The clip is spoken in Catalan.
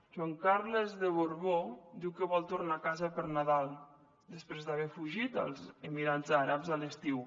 joan carles de borbó diu que vol tornar a casa per nadal després d’haver fugit als emirats àrabs a l’estiu